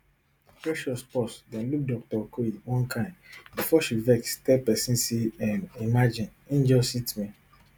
precious pause den look dr okoye one kain bifor she vex tell pesin say um imagine im just hit me